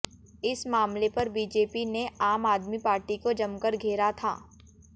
इस मामले पर बीजेपी ने आम आदमी पार्टी को जमकर घेरा था